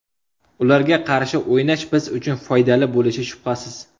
Ularga qarshi o‘ynash biz uchun foydali bo‘lishi shubhasiz.